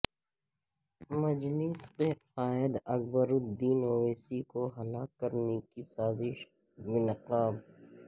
مجلس کے قائد اکبر الدین اویسی کو ہلاک کرنے کی سازش بے نقاب